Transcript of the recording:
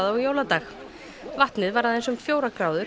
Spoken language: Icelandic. á jóladag vatnið var aðeins um fjórar gráður